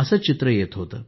असे विचार येत होते